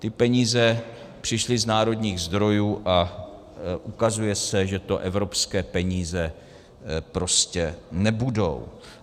Ty peníze přišly z národních zdrojů a ukazuje se, že to evropské peníze prostě nebudou.